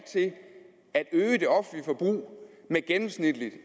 til at at øge det offentlige forbrug med gennemsnitligt